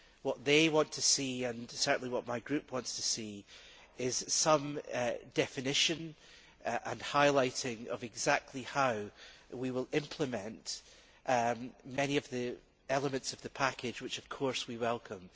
What they want to see, and certainly what my Group wants to see, is some definition and highlighting of how exactly we will implement many of the elements of the package which, of course, we welcome.